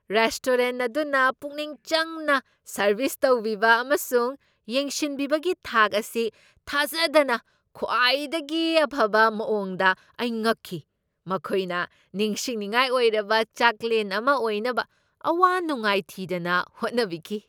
Restaurant ꯑꯗꯨꯅ ꯄꯨꯛꯅꯤꯡ ꯆꯪꯅ ꯁꯔꯚꯤꯁ ꯇꯧꯕꯤꯕ ꯑꯃꯁꯨꯡ ꯌꯦꯡꯁꯤꯟꯕꯤꯕꯒꯤ ꯊꯥꯛ ꯑꯁꯤ ꯊꯥꯖꯗꯅ ꯈ꯭ꯋꯥꯏꯗꯒꯤ ꯑꯐꯕ ꯃꯑꯣꯡꯗ ꯑꯩ ꯉꯛꯈꯤ, ꯃꯈꯣꯏꯅ ꯅꯤꯡꯁꯤꯟꯅꯤꯡꯉꯥꯏ ꯑꯣꯏꯔꯕ ꯆꯥꯛꯂꯦꯟ ꯑꯃ ꯑꯣꯏꯅꯕ ꯑꯋꯥ ꯅꯨꯡꯉꯥꯏ ꯊꯤꯗꯅ ꯍꯣꯠꯅꯕꯤꯈꯤ꯫